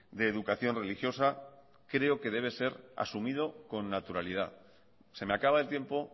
de educación religiosa creo que debe ser asumido con naturalidad se me acaba el tiempo